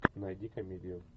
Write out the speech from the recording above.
найди комедию